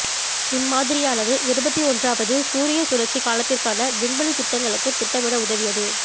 இம்மாதிரியானது இருபத்தி ஒன்றாவது சூரியச் சுழற்சி காலத்திற்கான விண்வெளித் திட்டங்களுக்குத் திட்டமிட உதவியது